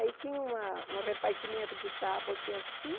Aí tinha uma um repartimento de tábua aqui assim,